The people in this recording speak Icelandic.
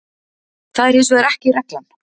Það er hins vegar ekki reglan.